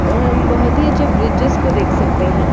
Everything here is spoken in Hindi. और हम बहुत ही अच्छे ब्रिजेस को देख सकते है।